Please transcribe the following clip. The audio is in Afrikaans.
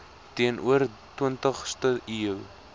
teenoor twintigste eeu